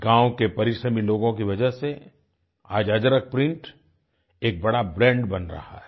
गाँव के परिश्रमी लोगों की वजह से आज अजरक प्रिंट एक बड़ा ब्रांड बन रहा है